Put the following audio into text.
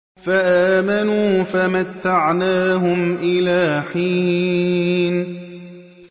فَآمَنُوا فَمَتَّعْنَاهُمْ إِلَىٰ حِينٍ